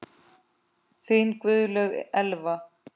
Þín Guðlaug Elfa.